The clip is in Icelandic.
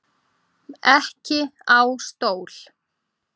Ekki á stól.